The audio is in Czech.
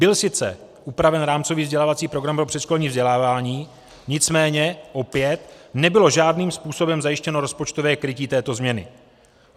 Byl sice upraven rámcový vzdělávací program pro předškolní vzdělávání, nicméně opět nebylo žádným způsobem zajištěno rozpočtové krytí této změny.